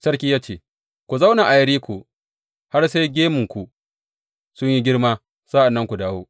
Sarki ya ce, Ku zauna a Yeriko har sai gemunku sun yi girma, sa’an nan ku dawo.